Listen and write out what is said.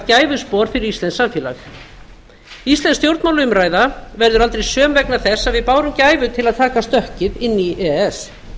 gæfuspor fyrir íslenskt samfélag íslensk stjórnmálaumræða verður aldrei söm vegna þess að við bárum gæfu til að taka stökkið inn í e e s